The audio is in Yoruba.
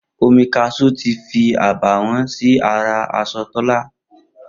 Omi kashú tí fí àbàwọ́n sí ara aṣọ Tólá